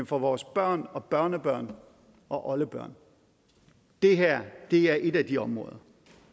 for vores børn og børnebørn og oldebørn det her er et af de områder